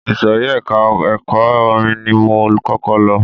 Ìsòrí ẹka ẹ̀kọ́ orin ni mo kọ́kọ́ lọ.